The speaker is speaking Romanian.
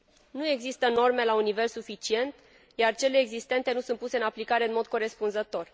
Nu există norme la un nivel suficient, iar cele existente nu sunt puse în aplicare în mod corespunzător.